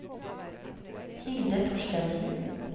Hilde Thorstensen